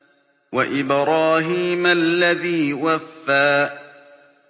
وَإِبْرَاهِيمَ الَّذِي وَفَّىٰ